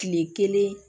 Kile kelen